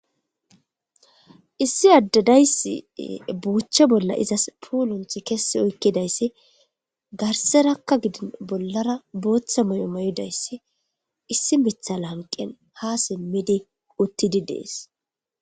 Issi addadayssi buuche bolla izas puulunth kessi oykkidayssi garserakka gidin bollara booththa may'o mayudayssi issi mithala hanqen ha simmidi uttidi dees.